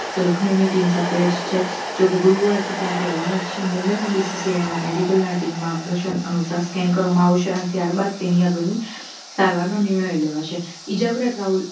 તો લખનવની team સાથે જ છે જોકે ગુરુવારથી ત્યાંથી રવાના થશે મુંબઈના BCCL ના medical ના team માર્ગદર્શન અનુસાર scan કરવામાં આવશે અને ત્યારબાદ તેની આગળ ની સારવારનો નિર્ણય લેવાશે ઇજાગ્રસ્ત રાહુલ